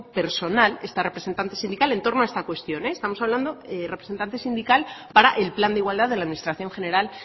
personal esta representante sindical en torno a esta cuestión estamos hablando de representante sindical para el plan de igualdad de la administración general